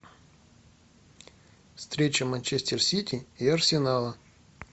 встреча манчестер сити и арсенала